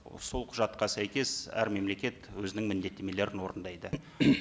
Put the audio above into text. сол құжатқа сәйкес әр мемлекет өзінің міндеттемелерін орындайды